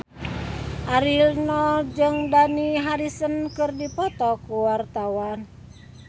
Ariel Noah jeung Dani Harrison keur dipoto ku wartawan